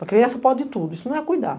Para a criança pode tudo, isso não é cuidar.